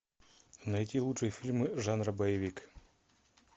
найти лучшие фильмы жанра боевик